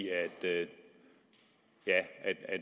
at